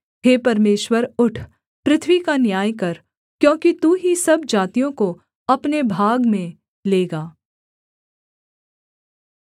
हे परमेश्वर उठ पृथ्वी का न्याय कर क्योंकि तू ही सब जातियों को अपने भाग में लेगा